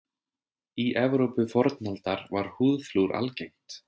Í Evrópu fornaldar var húðflúr algengt.